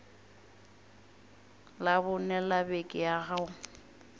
labone la beke ya go